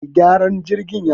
Mai gyaran jirgin ya zo